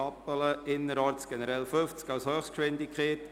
«Innerorts generell 50 km/h als Höchstgeschwindigkeit».